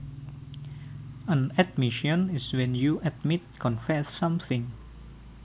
An admission is when you admit confess something